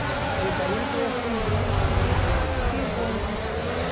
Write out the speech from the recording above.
Vocês vieram para o Brasil. Porque aí ele foi assumir Paris, mais cinco anos em Paris.